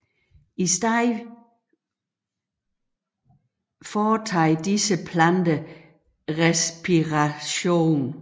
I stedet foretager disse planter respiration